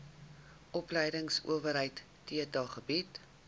opleidingsowerheid theta bied